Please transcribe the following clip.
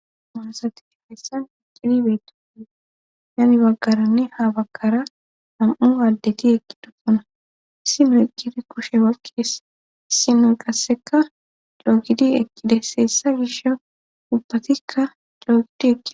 monosati fessan iqidibeetoe hanni baggaranne ha baggara nam'u aaddeti ekkidofana sinoy qidi koshe bakees sinoy qasseka doogidi ekide seessa gish ubbatikka doogidi eki